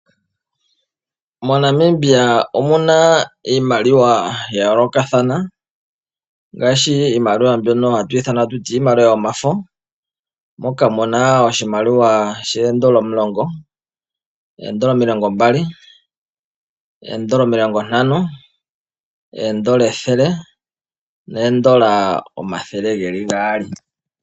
MoNamibia omu na iimaliwa ya yoolokathana, ngaashi iimaliwa mbyoka hatu ithana ta tuti iimaliwa, yomafo, moka muna oshimaliwa shoondola omulongo, oondola omilongo mbali, oondola omilongo ntano, oondola ethele noondola omathe ge li gaali.